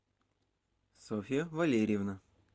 софья валерьевна